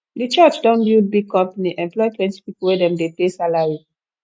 di church don build big company employ plenty pipu wey dem dey pay salary